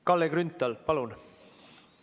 Kalle Grünthal, palun!